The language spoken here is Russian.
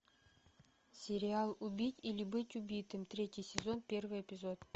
сериал убить или быть убитым третий сезон первый эпизод